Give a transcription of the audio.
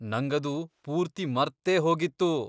ನಂಗದು ಪೂರ್ತಿ ಮರ್ತೇ ಹೋಗಿತ್ತು.